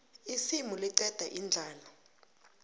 isimu liqeda indlala